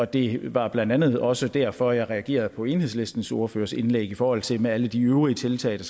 det var blandt andet også derfor jeg reagerede på enhedslistens ordførers indlæg i forhold til det med alle de øvrige tiltag